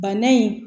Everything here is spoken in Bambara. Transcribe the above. Bana in